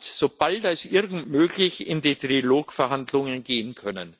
so bald wie möglich in die Trilog-Verhandlungen gehen können.